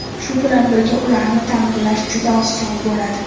Shu bilan birga ularni ta’mirlash juda oson bo‘ladi.